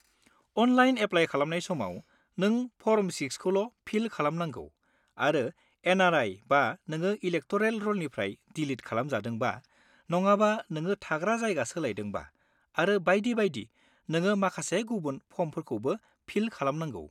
Online apply खालामनाय समाव, नों फर्म 6 खौल' फिल खालामनांगौ आरो एन.आर.आइ.बा, नोङो इलेकट'रेल रलनिफ्राय डिलिट खालामजादोंबा, नङाबा नोङो थाग्रा जायगा सोलायदोंबा आरो बायदि बायदि, नोङो माखासे गुबुन फर्मफोरखौबो फिल खालामनांगौ।